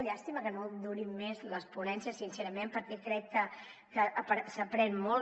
llàstima que no durin més les ponències sincerament perquè crec que s’aprèn molt